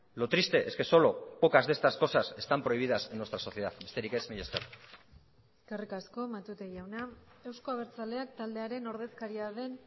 lo triste es que solo pocas de estas cosas están prohibidas en nuestra sociedad besterik ez mila esker eskerrik asko matute jauna euzko abertzaleak taldearen ordezkaria den